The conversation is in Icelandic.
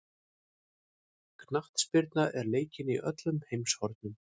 Knattspyrna er leikin í öllum heimshornum.